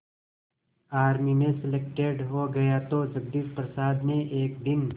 army में selected हो गया तो जगदीश प्रसाद ने एक दिन